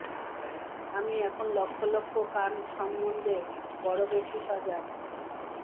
আমি এখন লক্ষ লক্ষ কান সম্বন্ধে বড় বেশি সজাগ